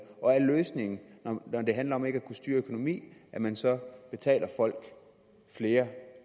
og er løsningen når det handler om ikke at kunne styre økonomi at man så betaler folk flere